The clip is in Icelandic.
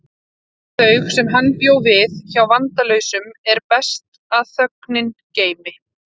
Kjör þau sem hann bjó við hjá vandalausum er best að þögn geymi.